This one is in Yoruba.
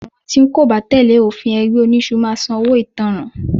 Gbogbo àwọn tí wọ́n kò bá tẹ́lẹ̀ òfin ẹgbẹ́ oniṣu máa sàn owó ìtanràn